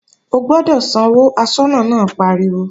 O gbọ́dọ̀ sanwó, aṣọ́nà náà pariwo!